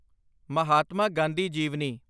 ਮਹਾਤਮਾ ਗਾਂਧੀ ਜੀਵਨੀ